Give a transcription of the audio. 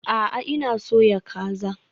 A'a, ina soya kaza